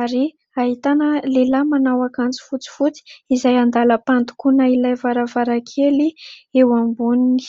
ary ahitana lehilahy manao akanjo fotsifotsy izay andalam-pandokoana ilay varavarakely eo amboniny.